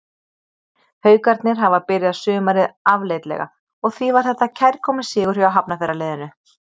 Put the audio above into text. Haukarnir hafa byrjað sumarið afleitlega og því var þetta kærkominn sigur hjá Hafnarfjarðarliðinu.